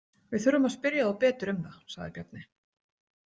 Við þurfum að spyrja þá betur um það, sagði Bjarni.